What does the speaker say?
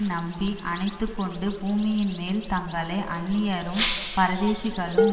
நம்பி அணைத்துக்கொண்டு பூமியின்மேல் தங்களை அந்நியரும் பரதேசிகளும்